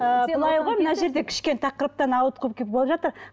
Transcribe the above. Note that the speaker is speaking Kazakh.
мына жерде кішкене тақырыптан ауытқып жатыр